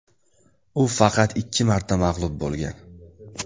U faqat ikki marta mag‘lub bo‘lgan.